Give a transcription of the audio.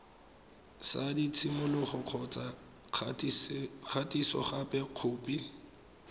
sa tshimologo kgotsa kgatisogape khopi